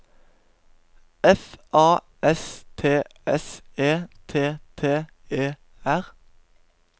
F A S T S E T T E R